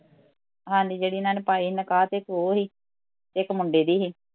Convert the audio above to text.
ਹਾਂਜੀ ਜਿਹੜੀ ਏਹਨਾ ਨੇ ਪਾਈ ਸੀ ਨਿਕਾਹ ਤੇ ਇੱਕ ਉਹ ਸੀ ਇੱਕ ਮੁੰਡੇ ਦੀ ਸੀ